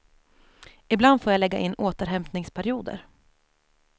Ibland får jag lägga in återhämtningsperioder.